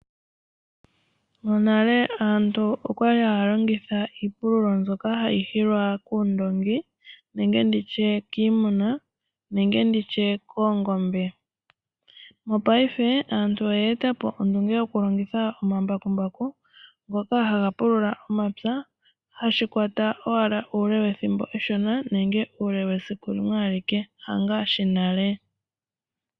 Monale aantu okwa li haya longitha iipululo mbyoka hayi hilwa kuundoongi nenge kiimuna ngaashi oongombe. Mopaife aantu oyeetapo ondunge yokulongitha omambakumbaku, ngoka haga pulula omapya . Ohashi kwata owala uule wethimbo eshona nenge uule wesiku limwe alike , hangaashi nale.